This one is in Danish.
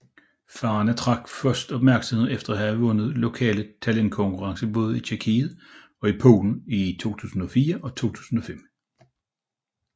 Farna tiltrak først opmærksomhed efter at have vundet lokale talentkonkurrencer i både Tjekkiet og Polen i 2004 og 2005